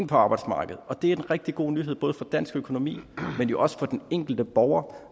på arbejdsmarkedet det er en rigtig god nyhed både for dansk økonomi men jo også for den enkelte borger